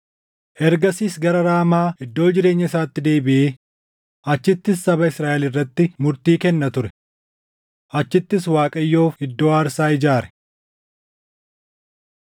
Ergasiis gara Raamaa iddoo jireenya isaatti deebiʼee achittis saba Israaʼel irratti murtii kenna ture. Achittis Waaqayyoof iddoo aarsaa ijaare.